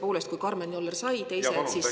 Tõepoolest, kui Karmen Joller sai, teised siis …